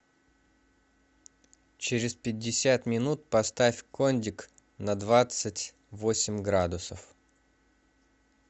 через пятьдесят минут поставь кондик на двадцать восемь градусов